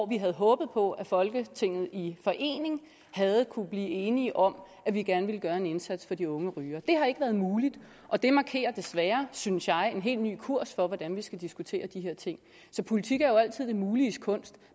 vi havde håbet på at folketinget i forening havde kunnet blive enige om at vi gerne ville gøre en indsats for de unge rygere det har ikke været muligt og det markerer desværre synes jeg en helt ny kurs for hvordan vi skal diskutere de her ting politik er jo altid det muliges kunst